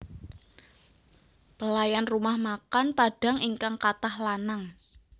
Pelayan rumah makan Padang ingkang katah lanang